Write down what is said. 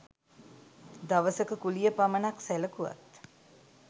දවසක කුලිය පමණක් සැලකුවත්